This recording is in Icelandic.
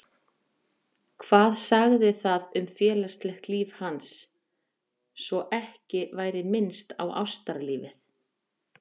Hvað sagði það um félagslegt líf hans, svo ekki væri minnst á ástalífið?